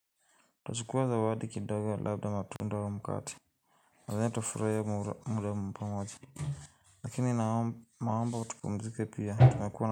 Tachukua zawadi kidogo labda matunda au mkate Nadhani tutafuraia muda pamoja Lakini naomba tupumzike pia tumekua na.